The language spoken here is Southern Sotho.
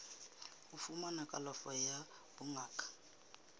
ho fumana kalafo ya bongaka